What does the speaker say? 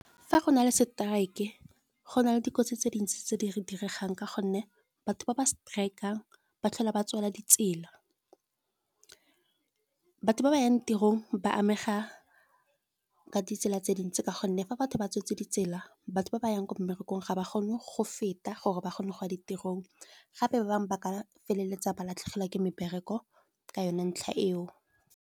Fa go na le strike e go na le dikotsi tse dintsi tse di re diregang ka gonne, batho ba ba strike-ang ba tlhola ba tswala ditsela. Batho ba ba yang tirong ba amega ka ditsela tse dintsi, ka gonne fa batho ba tswetse ditsela batho ba ba yang ko mmerekong ga ba kgone go feta gore ba kgone go ya ditirong. Gape ba bangwe ba ka feleletsa ba latlhegelwa ke mebereko ka yone ntlha eo.